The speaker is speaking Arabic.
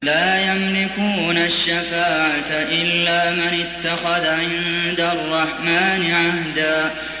لَّا يَمْلِكُونَ الشَّفَاعَةَ إِلَّا مَنِ اتَّخَذَ عِندَ الرَّحْمَٰنِ عَهْدًا